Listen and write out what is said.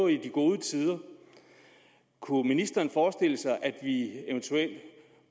i de gode tider kunne ministeren forestille sig at vi eventuelt